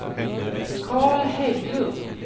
Carl Hägglund